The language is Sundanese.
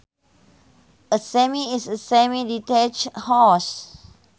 A semi is a semi detached house